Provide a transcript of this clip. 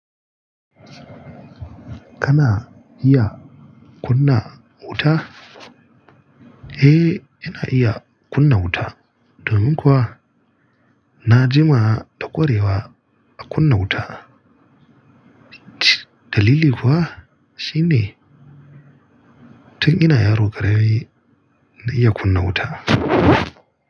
Kana iya kunna wuta? Eh, ina iya kunna wuta. Domin kuwa na jima da kwarewa a kunna wuta. Dalili kuwa shine tun ina yaro kara mi na iya kunna wuta.